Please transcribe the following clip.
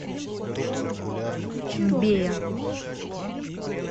мбея